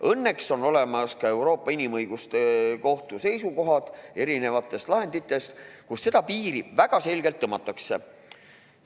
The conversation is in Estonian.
Õnneks on olemas ka Euroopa Inimõiguste Kohtu seisukohad erinevatest lahenditest, kust seda piiri väga selgelt tõmmatakse.